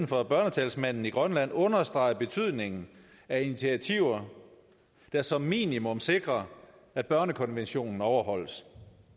fra børnetalsmanden i grønland understreger betydningen af initiativer der som minimum sikrer at børnekonventionen overholdes